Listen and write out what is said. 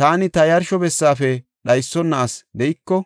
Taani ta yarsho bessaafe dhaysona asi de7iko,